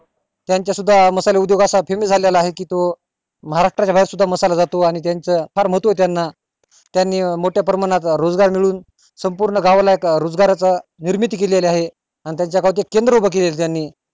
त्याच्या सुद्धा मसाल्या उदोगाचा झलेला आहे कि तो महाराष्ट्र च्या बाहेर सुद्धा मसाला जातो आणि त्याचा फार महत्व ये त्याना त्यांनी मोठ्या प्रमाणावर रोजगार मिळवून संपूर्ण गावाला एक रोजगाराची निर्मिती केली आहे आणि त्याचा गावाचं एक केंद्र उभा केला त्यानी